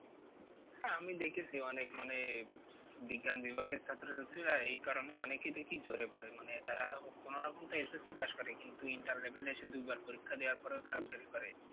আমি দেখেছি অনেক মানে বিজ্ঞান বিভাগের ছাত্রছাত্রীরা এই কারণে অনেকেই দেখি ঝরে পরে মানে তারা কোনো রকম তো SSC pass করে কিন্তু inter level এ এসে দুইবার পরিক্ষা দেবার পরেও তারা fail করে।